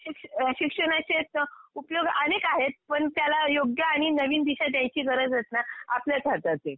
अ शिक्षणाचेच उपयोग अनेक आहेत, पण त्याला योग्य आणि नवीन दिशा द्यायची गरज येत ना आपल्याच हातात आहे.